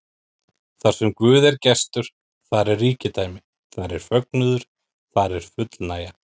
Þarsem Guð er gestur, þar er ríkidæmi, þar er fögnuður, þar er fullnægja.